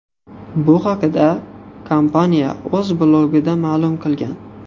Bu haqda kompaniya o‘z blogida ma’lum qilgan .